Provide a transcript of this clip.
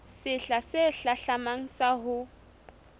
sehla se hlahlamang sa ho